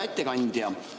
Hea ettekandja!